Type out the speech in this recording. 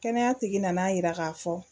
Kɛnɛya tigi nana yira k'a fɔ